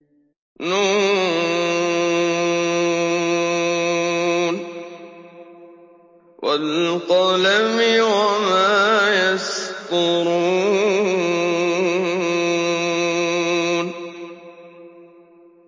ن ۚ وَالْقَلَمِ وَمَا يَسْطُرُونَ